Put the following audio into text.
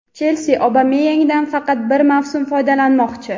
"Chelsi" Obameyangdan faqat bir mavsum foydalanmoqchi.